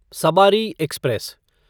सबारी express